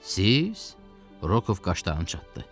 Siz Rokov daşdanı çatmı?